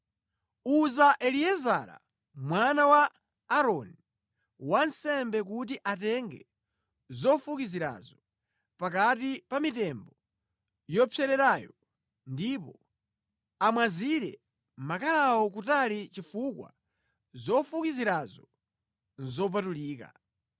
“Uza Eliezara mwana wa Aaroni, wansembe kuti atenge zofukizirazo pakati pa mitembo yopsererayo ndipo amwazire makalawo kutali chifukwa zofukizirazo nʼzopatulika.